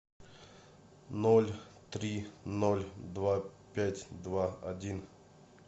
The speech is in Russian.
ноль три ноль два пять два один